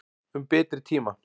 Um betri tíma.